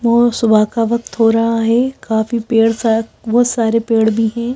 वो सुबह का वक्त हो रहा है काफी पेड़ सा बहुत सारे पेड़ भी हैं।